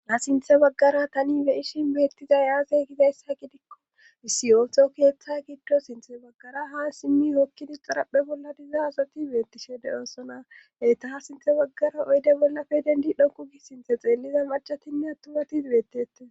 Ha sinthe baggara tani beishin beettizay aase gidayssa gidikko misiyooto keeththa giddo sinthe baggara haa simmi hokkidi xaraphe bolla diza azati beettishede oosona heyta ha sinthe baggara oyde bollafe dendi dhonku gi sinthe xeelliza marcatinne attumati beettete.